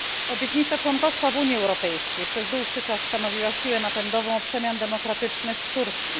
Obietnica członkostwa w Unii Europejskiej przez dłuższy czas stanowiła siłę napędową przemian demokratycznych w Turcji.